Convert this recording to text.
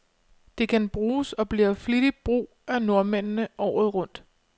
Det kan bruges, og bliver flittigt brug af nordmændene, året rundt.